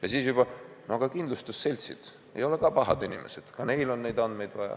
Ja siis juba ka kindlustusseltsid – ei ole pahad inimesed, ka neil on neid andmeid vaja.